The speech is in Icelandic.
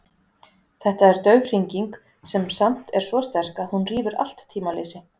Þetta er dauf hringing sem samt er svo sterk að hún rýfur allt tímaleysi.